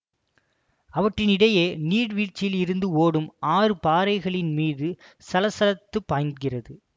அவற்றின் இடையே நீர்வீழ்ச்சியிலிருந்து ஓடும் ஆறு பாறைகளின் மீது சலசலத்துப் பாய்கிறது